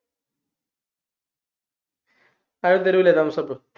ആരും തരൂല്ലേ thumbs up